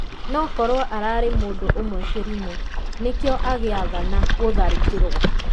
"Nokorwo ararĩ mũndũ ũmwe kĩrimũ (nĩkĩo agĩathana gũtharĩkĩrwo)."